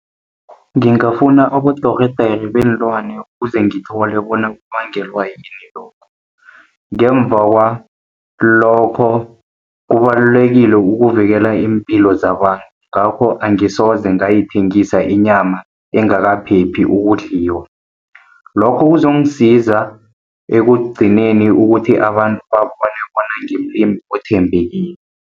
Ngingafuna abodorhodere beenlwana, kuze ngithole bona kubangelwa yini lokho. Ngemva kwalokho kubalulekile ukuvikela iimpilo zabantu, ngakho angisoze ngayithengisa inyama engakaphephi ukudliwa. Lokho kuzongisiza ekugcineni ukuthi abantu babone bona ngimlimi othembekile.